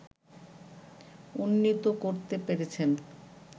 উন্নীত করতে পেরেছেন